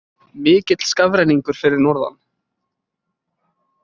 Mikill skafrenningur fyrir norðan